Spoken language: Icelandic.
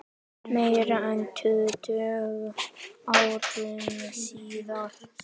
Faðir hennar tekur undir.